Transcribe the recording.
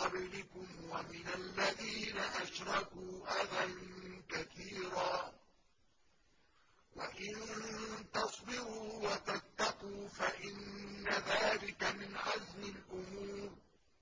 قَبْلِكُمْ وَمِنَ الَّذِينَ أَشْرَكُوا أَذًى كَثِيرًا ۚ وَإِن تَصْبِرُوا وَتَتَّقُوا فَإِنَّ ذَٰلِكَ مِنْ عَزْمِ الْأُمُورِ